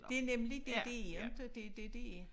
Det nemlig det det er inte det det det er